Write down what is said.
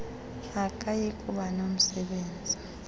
akayi kuba nomsebenzi